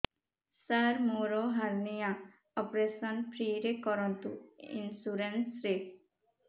ସାର ମୋର hernia operation free ରେ କରନ୍ତୁ ଇନ୍ସୁରେନ୍ସ ରେ